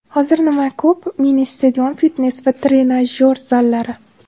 Hozir nima ko‘p mini-stadion, fitnes va trenajyor zallari.